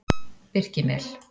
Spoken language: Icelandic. Birkimel